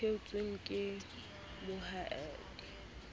theotsweng ke moadimi le ho